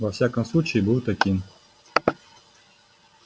во всяком случае был таким